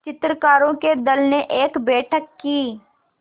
चित्रकारों के दल ने एक बैठक की